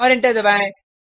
और एंटर दबाएँ